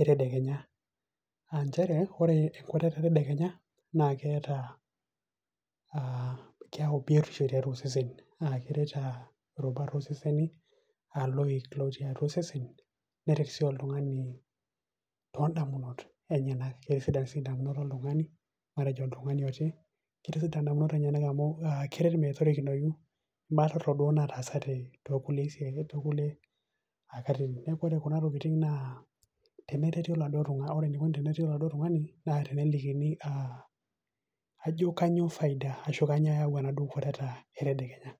etedekenya, aa nchere ore enkwatata etedekenya naa keeta ,keyau biotisho tiatua osesen naa keret irubat ooseseni aa iloik lootii atu iseseni. neret sii oltungani too damunot enyenak, keitisidan sii idamunot oltungani ata oltungani too, keret idamunot enyanak metorikinoyu ibaa torok duo naataasate too kulie saai too kulie katitin. neeku ore Kuna tokitin naa, tenereti ore eneikoni tenereti oladuoo tungani, naa kelekini ajo kainyioo faida enkwatata etedekenya.